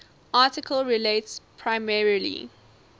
article relates primarily